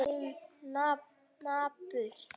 Þusið, svarar hún napurt.